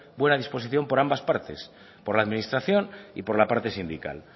buena disposición por ambas partes por la administración y por la parte sindical